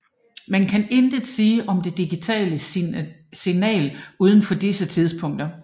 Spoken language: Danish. Man kan intet sige om det digital signal udenfor disse tidspunkter